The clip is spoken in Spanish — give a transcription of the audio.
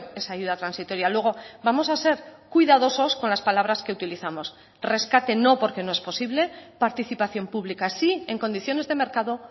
esa ayuda transitoria luego vamos a ser cuidadosos con las palabras que utilizamos rescate no porque no es posible participación pública sí en condiciones de mercado